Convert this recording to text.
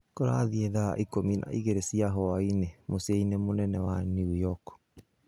Kũrathiĩ thaa ikũmi na igĩrĩ cia huainĩ mũcinĩ mũnene wa York.